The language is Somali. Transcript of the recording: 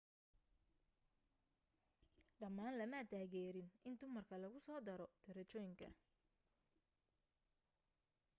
dhammaan lama taageeriin in dumarka lagu soo daro darajooyinka